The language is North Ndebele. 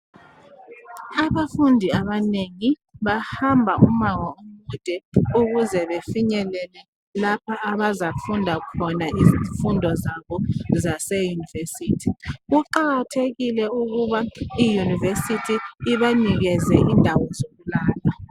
Abafundi abanengi bahamba umango omude ukuze befinyelele lapha abazafunda khona izifundo zabo zaseyunivesithi. Kuqakathekile ukuba iyunivesithi ibanikeze indawo zokulala.